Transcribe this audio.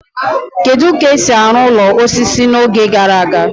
Kedu ka esi arụ ụlọ osisi n'oge gara aga?